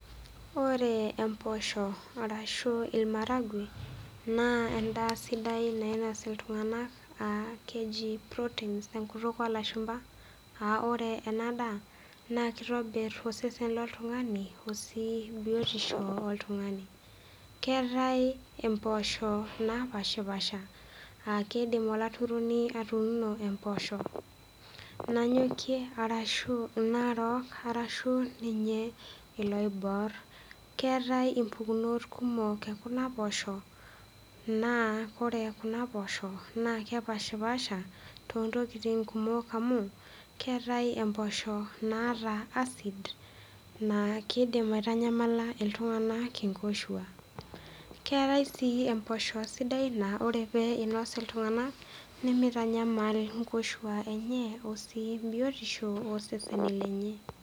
Ore mboshok arashu maharagwe naa endaa sidai nainos iltung'ana keji proteins tenkutuk olashumba aa ore ena daa naa kitobir osesen looltung'a osi biotisho oltung'ani keetae mboshok napashipashi aa kidim olaturuno atuno mboshok Nanyokie arashu narook arashu ninye eloibor keetae mbukunot kumok enkuna poshok naa ore Kuna poshok naa kepashipasha toontokitin kumok amu keetae mboshok naata acid naa kidim aitamyamala iltung'ana nkoshuak keetae sii mboshok sidan naa ore pinos iltung'ana nemitanyamal nkoshuak enye osi biotisho oo seseni lenye